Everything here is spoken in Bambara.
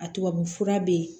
A tubabu fura be yen